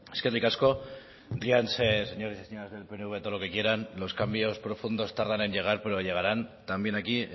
eskerrik asko ríanse señoras y señores del pnv todo lo que quieran los cambios profundos tardan en llegar pero llegaran también aquí